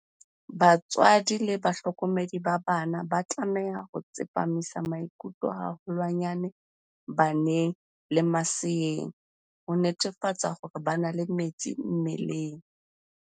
Batswadi le bahlokomedi ba bana ba tlameha ho tsepamisa maikutlo haholwanyane baneng le maseeng, ho netefatsa hore ba na le metsi mmeleng.